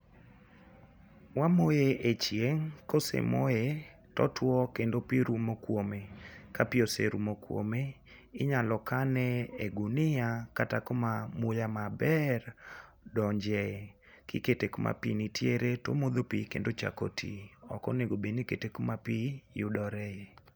Wamoye e chieng',kosemoye totuwo kendo pi rumo kwome. Ka pi oserumo kwome, inyalo kane e gunia kata kuma muya maber donje. Kikete kuma pi nitiere to omodho pi, kendo ochako ti. Ok onego obed ni kete kuma pi yudore.